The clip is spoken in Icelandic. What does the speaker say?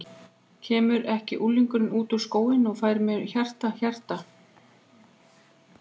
Kemur ekki unglingurinn út úr skóginum og færir mér hjarta, hjarta.